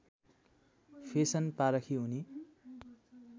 fashion पारखी उनी